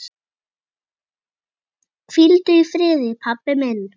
Hvíldu í friði, pabbi minn.